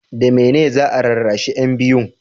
da mene ne za a rarrashi yan biyun?